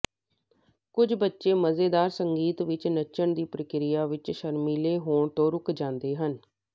ਕੁਝ ਬੱਚੇ ਮਜ਼ੇਦਾਰ ਸੰਗੀਤ ਵਿੱਚ ਨੱਚਣ ਦੀ ਪ੍ਰਕਿਰਿਆ ਵਿੱਚ ਸ਼ਰਮੀਲੇ ਹੋਣ ਤੋਂ ਰੁਕ ਜਾਂਦੇ ਹਨ